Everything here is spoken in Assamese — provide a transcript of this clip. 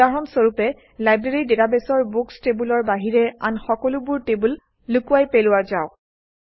উদাহৰণ স্বৰূপে লাইব্ৰেৰী ডাটাবেছৰ বুকচ্ টেবুলৰ বাহিৰে আন সকলোবোৰ টেবুল লুকুৱাই পেলোৱা যাওক